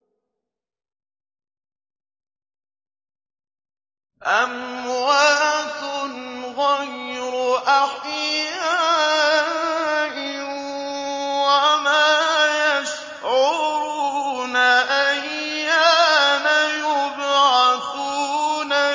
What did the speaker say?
أَمْوَاتٌ غَيْرُ أَحْيَاءٍ ۖ وَمَا يَشْعُرُونَ أَيَّانَ يُبْعَثُونَ